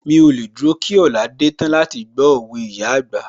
Mí ò lè dúró kí ọ̀la dé tán láti gbó òwe ìyá àgbà